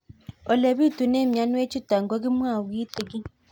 Ole pitune mionwek chutok ko kimwau kitig'ín